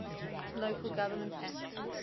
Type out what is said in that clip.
local government act